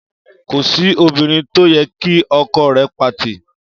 Kò sí obìrin to yẹ kí ọkọ rè pati